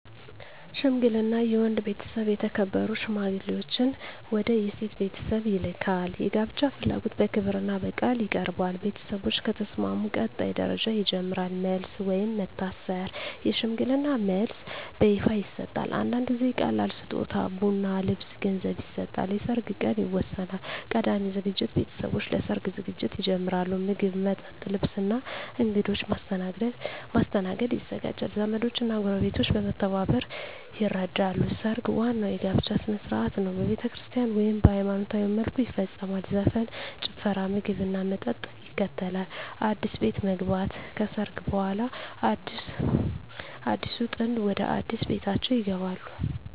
ሽምግልና የወንድ ቤተሰብ የተከበሩ ሽማግሌዎችን ወደ የሴት ቤተሰብ ይልካል። የጋብቻ ፍላጎት በክብርና በቃል ይቀርባል። ቤተሰቦች ከተስማሙ ቀጣይ ደረጃ ይጀምራል። መልስ (ወይም መታሰር) የሽምግልና መልስ በይፋ ይሰጣል። አንዳንድ ጊዜ ቀላል ስጦታ (ቡና፣ ልብስ፣ ገንዘብ) ይሰጣል። የሰርግ ቀን ይወሰናል። ቀዳሚ ዝግጅት ቤተሰቦች ለሰርግ ዝግጅት ይጀምራሉ። ምግብ፣ መጠጥ፣ ልብስ እና እንግዶች ማስተናገድ ይዘጋጃል። ዘመዶች እና ጎረቤቶች በመተባበር ይረዳሉ። ሰርግ ዋናው የጋብቻ ሥነ ሥርዓት ነው። በቤተክርስቲያን (ወይም በሃይማኖታዊ መልኩ) ይፈጸማል። ዘፈን፣ ጭፈራ፣ ምግብና መጠጥ ይከተላል። አዲስ ቤት መግባት (ከሰርግ በኋላ) አዲሱ ጥንድ ወደ አዲስ ቤታቸው ይገባሉ።